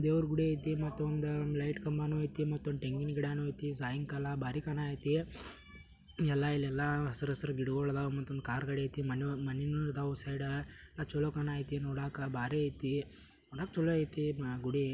ದೇವ್ರು ಕುಡಿತಿ ಮತ್ತೆ ಒಂದು ಲೈಟ್ ಕಂಬನು ಐತಿ. ಮತ್ತೆ ಒಂದು ತೆಂಗಿನ ಗಿಡ ನು ಐತಿ. ಸಾಯಂಕಾಲ ಬಾರಿ ಕಾಣಕೈತಿ. ಎಲ್ಲಾ ಇಲ್ಲೆಲ್ಲಾ ಹಸಿರು ಹಸಿರು ಗಿಡಗಳು ಇದ್ದವು ಕಾರ್ಗಳು ಐತಿ. ಮನೆಯಲ್ಲಿ ಮನೇನು ಇದ್ದವು. ಸೈಡ ಚಲೋ ಕಾಣ ಕತೆ ನೋಡಕ್ಕೆ ಬಹಳ ಐತಿ ಒಟ್ಟಿನಲ್ಲಿ ಚಲೋ ಐತಿ ಗುಡಿ.